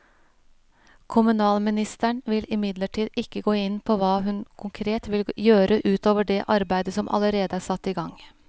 Kommunalministeren vil imidlertid ikke gå inn på hva hun konkret vil gjøre ut over det arbeidet som allerede er satt i gang.